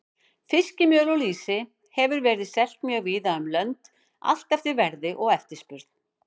Fiskmjöl og lýsi hefur verið selt mjög víða um lönd, allt eftir verði og eftirspurn.